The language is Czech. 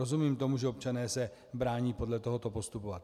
Rozumím tomu, že se občané brání podle tohoto postupovat.